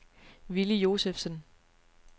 Villy Josefsen